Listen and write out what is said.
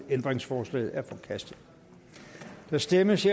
ændringsforslaget er forkastet der stemmes